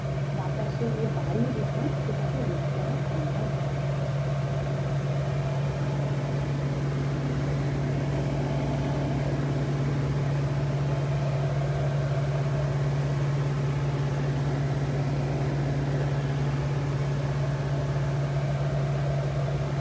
বাতাসে যে বায়ু দূষণ সেটাকে রোধ করা সম্ভব হবে।